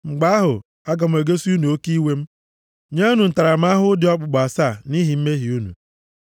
mgbe ahụ, aga m egosi unu oke iwe m, nye unu ntaramahụhụ dị okpukpu asaa nʼihi mmehie unu.